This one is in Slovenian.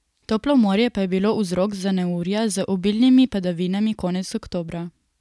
Toplo morje pa je bilo vzrok za neurja z obilnimi padavinami konec oktobra.